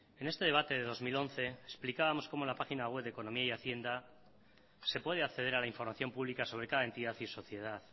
en este debate de dos mil once explicábamos cómo la página web de economía y hacienda se puede acceder a la información pública sobre cada entidad y sociedad